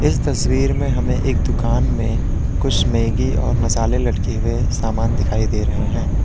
इस तस्वीर में हमें एक दुकान में कुछ मैगी और मसाले लटके हुए सामान दिखाई दे रहे हैं।